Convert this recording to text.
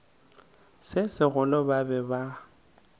se segolo ba be ba